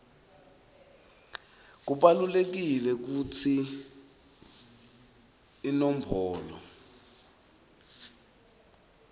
kubalulekile kutsi iinombolo